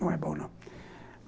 Não é bom, não.